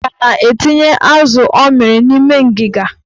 Nneka na-etinye azụ ọ mịrị n'ime ngiga.